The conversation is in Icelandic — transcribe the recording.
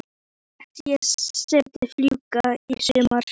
Svo lét ég settið fjúka í sumar.